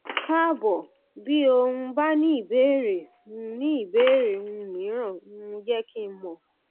káàbọ bí o um bá ní ìbéèrè ní ìbéèrè um mìíràn um jẹ kí n mọ